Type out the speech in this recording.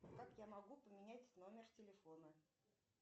как я могу поменять номер телефона